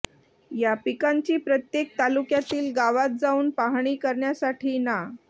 या पिकांची प्रत्येक तालुक्यातील गावांत जाऊन पाहणी करण्यासाठी ना